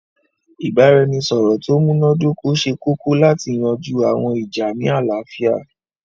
Ìbàràẹnisọ̀rọ̀ tó múnadókọ̀ sẹ̀ kòkò látì yanjú àwọn ìjà́ ní aláfíà.